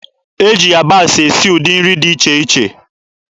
E ji yabasị esi ụdị nri dị iche iche.